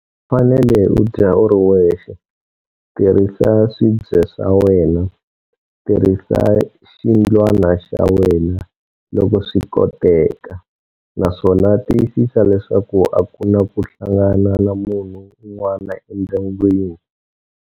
U fanele u dya u ri wexe, tirhisa swibye swa wena, tirhisa xindlwana xa wena, loko swi koteka, naswona tiyisisa leswaku aku na ku hlangana na munhu un'wana endyangwini.